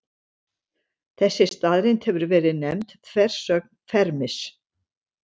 Þessi staðreynd hefur verið nefnd þversögn Fermis.